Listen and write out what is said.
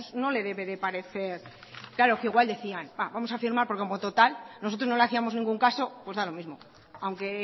no les debe de parecer claro que igual decían vamos a firmar porque como total nosotros no le hacíamos ningún caso pues da lo mismo aunque